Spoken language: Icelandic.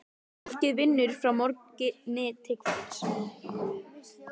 Fólkið vinnur frá morgni til kvölds.